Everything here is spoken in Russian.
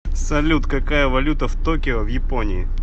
салют какая валюта в токио в японии